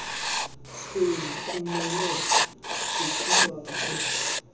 senu kumele ukubakho